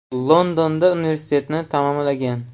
Londonda universitetni tamomlagan.